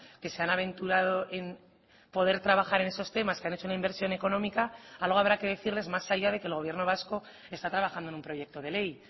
que se han aventurado en poder trabajar en esos temas que han hecho una inversión económica algo habrá que decirles más allá de que el gobierno vasco está trabajando en un proyecto de ley